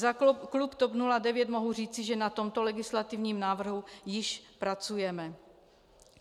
Za klub TOP 09 mohu říci, že na tomto legislativním návrhu již pracujeme.